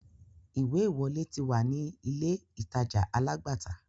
Ìwé-ìwọlé ti wà ní ilé-ìtàja alágbàtà.